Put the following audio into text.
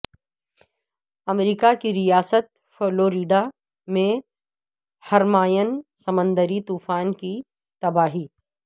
امریکہ کی ریاست فلوریڈا میں ہرمائن سمندری طوفان کی تباہی